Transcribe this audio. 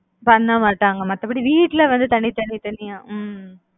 பண்ணமாட்டாங்க மத்தபடி வீட்டுல வந்து தனி தனி தனியா ஹம்